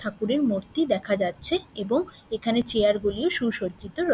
ঠাকুরের মূর্তি দেখা যাচ্ছে এবং এখানে চেয়ার গুলিও সুসজ্জিত রয়ে--